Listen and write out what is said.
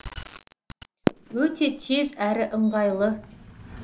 өте тез әрі ыңғайлы